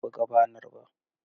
Bai buga banar ba.